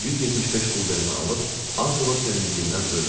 175 quldenimi alıb az qala sevindiyimdən ölmüşdüm.